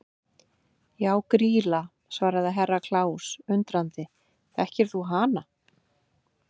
Já Grýla, svaraði Herra Kláus undrandi, þekkir þú hana?